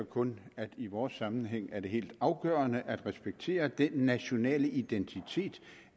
kun at i vores sammenhæng er det helt afgørende at respektere den nationale identitet